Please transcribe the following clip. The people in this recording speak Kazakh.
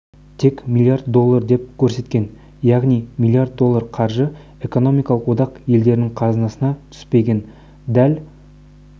тек миллиард доллар деп көрсеткен яғни миллиард доллар қаржы экономикалық одақ елдерінің қазынасына түспеген дәл